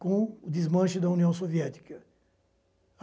com o desmanche da União Soviética.